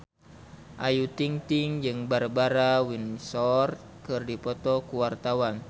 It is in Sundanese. Ayu Ting-ting jeung Barbara Windsor keur dipoto ku wartawan